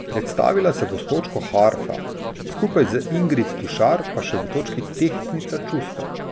Predstavila se bo s točko Harfa, skupaj z Ingrid Tušar pa še v točki Tehtnica čustev.